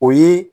O ye